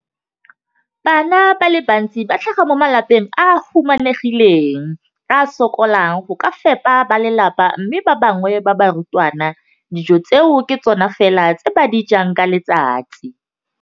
Bana ba le bantsi ba tlhaga mo malapeng a a humanegileng a a sokolang go ka fepa ba lelapa mme ba bangwe ba barutwana, dijo tseo ke tsona fela tse ba di jang ka letsatsi.